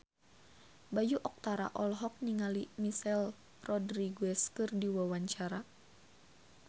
Bayu Octara olohok ningali Michelle Rodriguez keur diwawancara